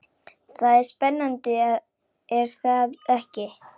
Það er spennandi er það ekki?